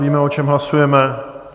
Víme, o čem hlasujeme?